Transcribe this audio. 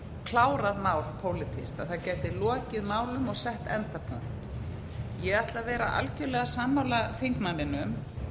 klárað mál pólitískt að það gæti lokið málum og sett endapunkt ég ætla að vera algjörlega sammála þingmanninum